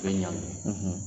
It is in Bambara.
I be ɲangi